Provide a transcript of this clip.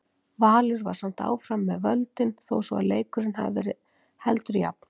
Valur var samt áfram með völdin þó svo að leikurinn hafi verið heldur jafn.